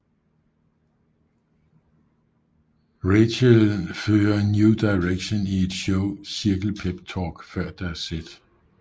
Rachel fører New Directions i et show cirkel peptalk før deres sæt